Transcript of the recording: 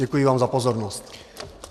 Děkuji vám za pozornost.